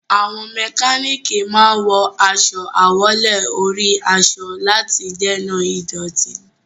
Àwọn mẹkánánìkì máa wọ aṣọ àwọ̀lé-orí-aṣọ láti dènà ìdọ̀tí.